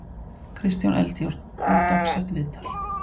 Kristján Eldjárn, ódagsett viðtal.